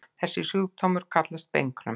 Þessi sjúkdómur kallast beinkröm.